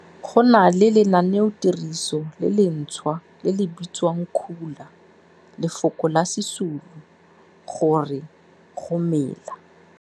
Go na le lenaneotiriso le lentshwa le le bitswang Khula, lefoko la Sesulu go re go mela.